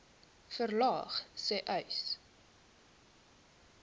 verlaag sê uys